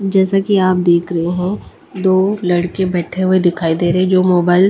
जैसा कि आप देख रहे हैं दो लड़के बैठे हुए दिखाई दे रहे हैं जो मोबाइल --